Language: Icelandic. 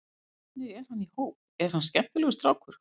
Hvernig er hann í hóp, er þetta skemmtilegur strákur?